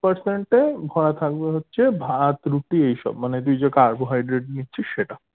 percent এ ভরা থাকবে হচ্ছে ভাত রুটি এইসব মানে তুই যে carbohydrate নিচ্ছিস সেটা